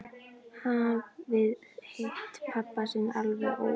Hafði hitt pabba sinn alveg óvænt.